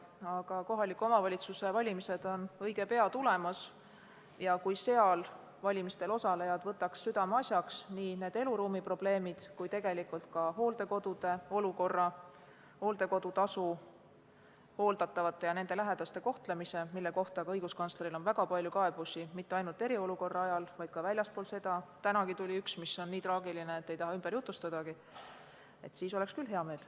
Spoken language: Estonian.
Aga kohaliku omavalitsuse valimised on õige pea tulemas ja kui neil valimistel osalejad võtaksid südameasjaks nii need eluruumiprobleemid kui tegelikult ka hooldekodude olukorra, hooldekodu tasu, hooldatavate ja nende lähedaste kohtlemise, mille kohta on õiguskantslerile tulnud väga palju kaebusi – mitte ainult eriolukorra ajal, vaid ka väljaspool seda, tänagi tuli üks, mis on nii traagiline, et ei taha ümber jutustadagi –, siis oleks küll hea meel.